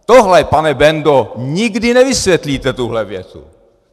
Tohle, pane Bendo, nikdy nevysvětlíte, tuhle větu.